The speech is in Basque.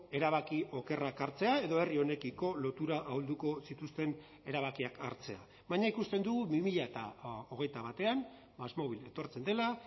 erabaki okerrak hartzea edo herri honekiko lotura ahulduko zituzten erabakiak hartzea baina ikusten dugu bi mila hogeita batean másmovil etortzen dela